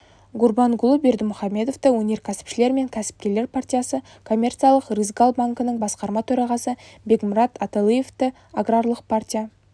гурбангулы бердымухамедовті өнеркәсіпшілер мен кәсіпкерлер партиясы коммерциялық рысгал банкінің басқарма төрағасы бегмырат аталыевті аграрлық партия